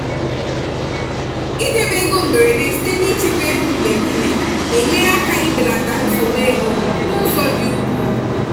idebe ego mberede site n'ichekwa ego mgbe niile na-enyere aka ibelata nsogbu ego n'ụzọ dị ukwuu.